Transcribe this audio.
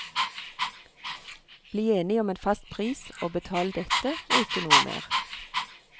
Bli enig om en fast pris og betal dette og ikke noe mer.